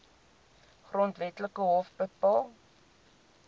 grondwetlike hof bepaal